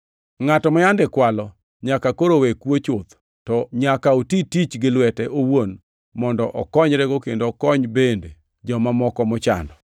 Ngʼato ma yande kwalo nyaka koro we kuo chuth, to nyaka oti tich gi lwete owuon mondo okonyrego kendo okony bende joma moko mochando.